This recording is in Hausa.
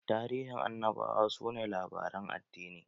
Tarihin Annabawa su ne labaren addini.